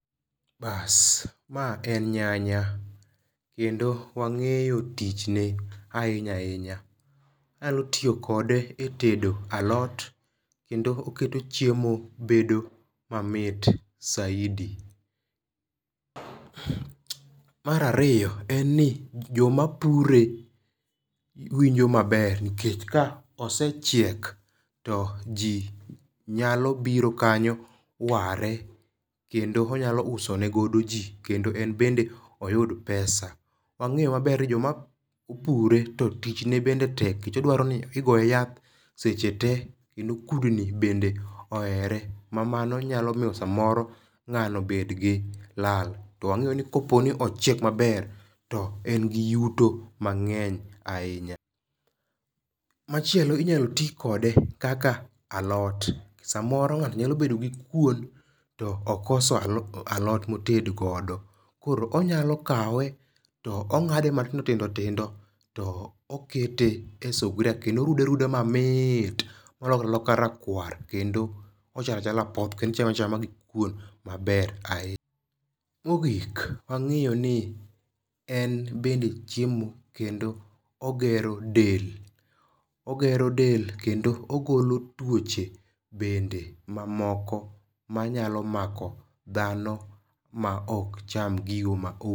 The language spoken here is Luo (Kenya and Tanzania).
Baas, ma en nyanya kendo wang'eyo tichne ahinya ahinya. Inyalo tiyo kode e tedo alot kendo oketo chiemo bedo mamit saidi. Mar ariyo en ni joma pure winjo maber nikech ka osechiek to ji nyalo biro kanyo ware kendo onyalo usonegodo ji kendo en bende oyud pesa. Wang'eyo maber ni joma opure to tich ne bende tek nikech odwaro ni igoye yath seche te kendo kudni bende ohere ma mano nyalo miyo samoro ng'ano obed gi lal. To wang'eyo ni kopo ni ochiek maber to en gi yuto mang'eny ahinya. Machielo inyalo ti kode kaka alot. Samoro ng'ato nyalo bedo gi kuon to okoso alot moted godo. Koro onyalo kawe to ong'ade matindo tindo tindo to okete e sugria kendo orude aruda mamit molokre aloka rakwar kendo ochalo achala apoth kendo ichame achama gi kuon maber ahinya. Mogik wang'eyo ni en'bende chiemo kendo ogero del. Ogero del kendo ogolo tuoche bende mamoko manyalo mako dhano ma ok cham gigo.